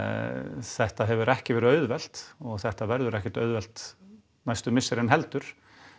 þetta hefur ekki verið auðvelt og þetta verður ekkert auðvelt næstu misserin heldur